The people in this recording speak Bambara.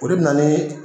O de bɛ na ni